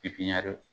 Pipiniyɛri